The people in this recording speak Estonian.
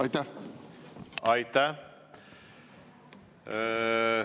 Aitäh!